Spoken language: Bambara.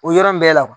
O yɔrɔ bɛɛ la